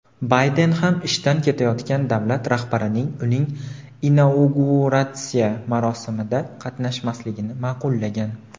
Bayden ham ishdan ketayotgan davlat rahbarining uning inauguratsiya marosimida qatnashmasligini ma’qullagan.